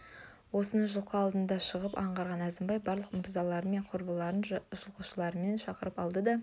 осыны жылқы алдына шығып аңғарған әзімбай барлық мырзалары мен құрбыларын жылқышыларын шақырып алды да